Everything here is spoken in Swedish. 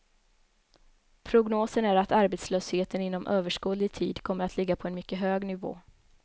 Prognosen är att arbetslösheten inom överskådlig tid kommer att ligga på en mycket hög nivå.